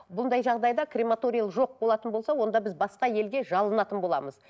бұндай жағдайда крематория жоқ болатын болса онда біз басқа елге жалынатын боламыз